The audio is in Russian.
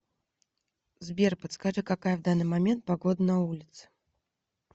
сбер подскажи какая в данный момент погода на улице